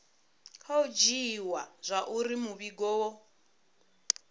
khou dzhiiwa zwauri muvhigo wo